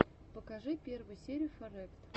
покажи первую серию фарэкт